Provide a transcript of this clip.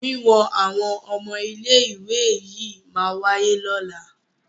Wíwọn àwọn ọmọ ilé ìwé yìí máa wáyé ní ọ̀la.